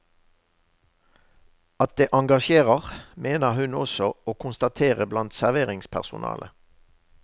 At det engasjerer, mener hun også å konstatere blant serveringspersonale.